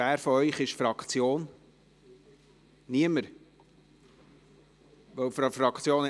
Wer von Ihnen spricht für die Fraktion?